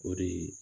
O de